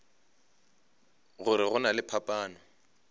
gore go na le phapano